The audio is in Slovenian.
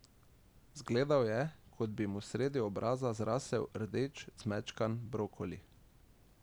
Zgledal je, kot bi mu sredi obraza zrasel rdeč zmečkan brokoli.